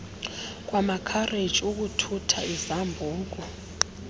kwamakhareji ukuthutha izambuku